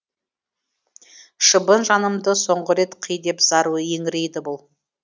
шыбын жанымды соңғы рет қи деп зар еңірейді бұл